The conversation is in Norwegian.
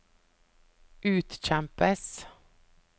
utkjempes